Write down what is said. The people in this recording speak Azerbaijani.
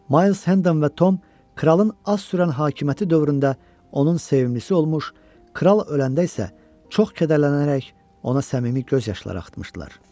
Mayles Hendam və Tom kralın az sürən hakimiyyəti dövründə onun sevimlisi olmuş, kral öləndə isə çox kədərlənərək ona səmimi göz yaşları axıtmışdılar.